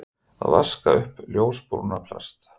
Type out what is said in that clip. Að vaska upp ljósbrúna plast